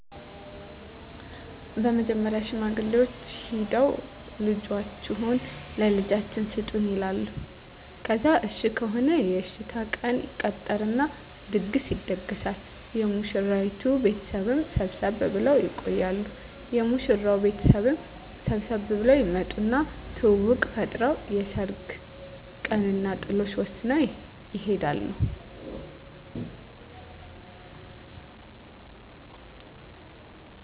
በመጀመሪያ ሽማግሌዎች ሂደው ልጃችሁን ለልጃችን ስጡን ይላሉ ከዛ እሽ ከሆነ የእሽታ ቀን ይቀጠርና ድግስ ይደገሳል የሙሽራይቱ ቤተሰብም ሰብሰብ ብለው ይቆያሉ የሙሽራው ቤተሰብም ሰብሰብ ብለው ይመጡና ትውውቅ ፈጥረው የሰርግ ቀንና ጥሎሽ ወስነው ይሄዳሉ።